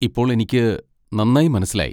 ഇപ്പോൾ എനിക്ക് നന്നായി മനസ്സിലായി.